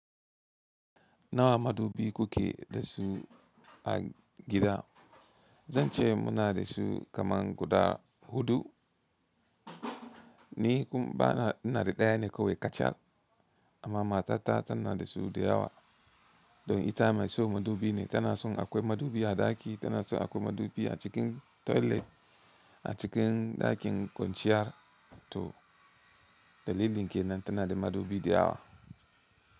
Nawa madubi kuke da su a gida? Zan ce muna da su kaman guda huɗu. Ni kum bana, ina da daya ne kawai kacal. Amma matata tana da su da yawa. Don ita mai so madubi ne. Tana son akwai madubi a ɗaki, tana son akwai madubi a cikin toilet, a cikin ɗakin kwanciya to dalilin ke nan tana da madubi da yawa.